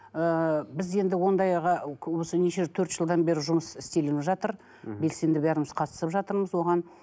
ыыы біз енді ондайға осы неше төрт жылдан бері жұмыс істеліп жатыр мхм белсенді бәріміз қатысып жатырмыз оған